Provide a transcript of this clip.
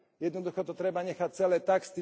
Jednoducho to treba nechať celé tak.